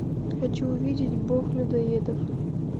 хочу увидеть бог людоедов